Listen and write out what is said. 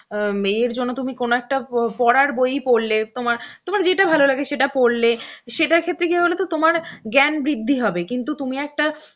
অ্যাঁ এর জন্য তুমি কোন একটা প~ পড়ার বই পড়লে তোমা~ তোমার যেটা ভালো লাগে সেটা পড়লে, সেটার ক্ষেত্রে কি হয় বলোতো তোমার জ্ঞান বৃদ্ধি হবে কিন্তু তুমি একটা